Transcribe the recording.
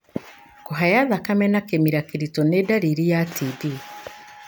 Kũhaya thakame na kĩmira kĩritũ nĩ ndariri ya TB.